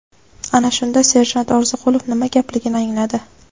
Ana shunda serjant Orziqulov nima gapligini angladi.